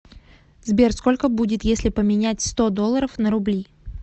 сбер сколько будет если поменять сто долларов на рубли